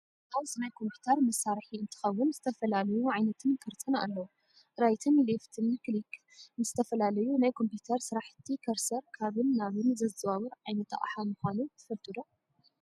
ማውዝ ናይ ኮምፒተር መሳሪሒ እንትከውን ዝተፈላለዩ ዓይነትን ቅርፅን ኣለው። ራይትን ሌፍትን ክሊክ ንዝተፈላለዩ ናይ ኮምፒተር ስራሕቲ ከርሰር ካብን ናብን ዘዘዋውር ዓይነት ኣቅሓ ምኳኑ ትፈልጡ ዶ ?